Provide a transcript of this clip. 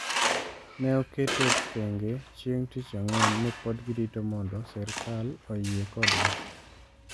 ne oketo thenge chieng' Tich Ang'wen ni pod girito mondo sirkal oyie kodgi.